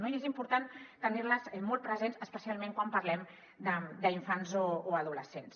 i és important tenir les molt presents especialment quan parlem d’infants o adolescents